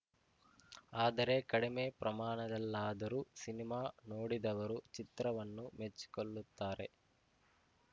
ಆದರೆ ಕಡಿಮೆ ಪ್ರಮಾಣದಲ್ಲಾದರೂ ಸಿನಿಮಾ ನೋಡಿದವರು ಚಿತ್ರವನ್ನು ಮೆಚ್ಚಿಕೊಳ್ಳುತ್ತಾರೆ